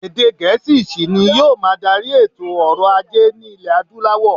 Èdè Gẹ̀̀ẹ́sì ṣì ni yóò máa darí èto ọrọ̀-ajé ní iẹ̀ Adúláwọ̀.